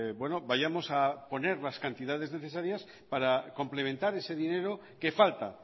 vayamos a poner las cantidades necesarias para complementar ese dinero que falta